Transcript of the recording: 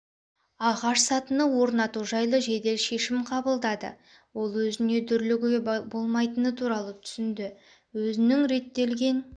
ағаш сатыны орнату жайлы жедел шешім қабылдады ол өзіне дүрлігіге болмайтыны туралы түсінді өзінің реттелген